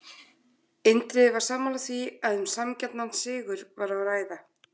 Indriði var sammála því að um sanngjarnan sigur var að ræða.